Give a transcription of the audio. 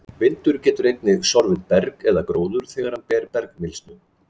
vindur getur einnig sorfið berg eða gróður þegar hann ber með bergmylsnu